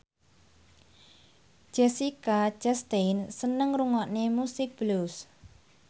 Jessica Chastain seneng ngrungokne musik blues